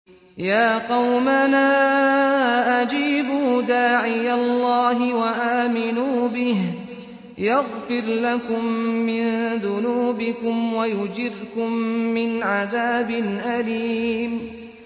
يَا قَوْمَنَا أَجِيبُوا دَاعِيَ اللَّهِ وَآمِنُوا بِهِ يَغْفِرْ لَكُم مِّن ذُنُوبِكُمْ وَيُجِرْكُم مِّنْ عَذَابٍ أَلِيمٍ